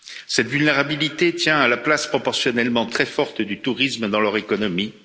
Cette vulnérabilité tient à la place proportionnellement très forte du tourisme dans leur économie.